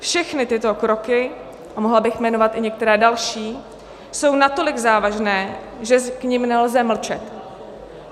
Všechny tyto kroky - a mohla bych jmenovat i některé další - jsou natolik závažné, že k nim nelze mlčet.